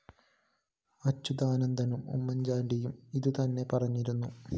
അച്യുതാനന്ദനും ഉമ്മന്‍ചാണ്ടിയും ഇതുതന്നെ പറഞ്ഞിരുന്നു